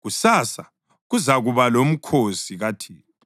“Kusasa kuzakuba lomkhosi kaThixo.”